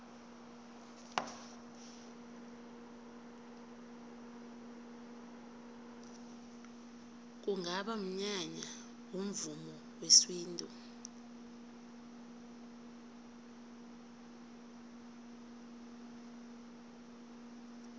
kungaba mnyanya womvumo wesintu